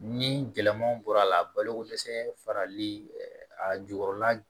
Ni gɛlɛmanw bɔr'a la a baloko dɛsɛ farali a jukɔrɔla